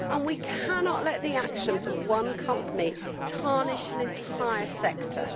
We cannot let the actions of one company tarnish an entire sector.